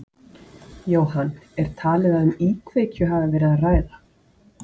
Jóhann, er talið að um íkveikju hafi verið að ræða?